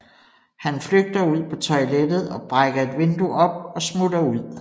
Han flygter ud på toilettet og brækker et vindue op og smutter ud